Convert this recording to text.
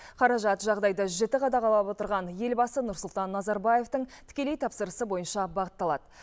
қаражат жағдайды жіті қадағалап отырған елбасы нұрсұлтан назарбаевтың тікелей тапсырысы бойынша бағытталады